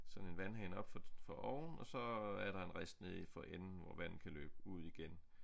Sådan en vandhane oppe fra oven og så er der en rist nede for enden hvor vandet kan løbe ud igen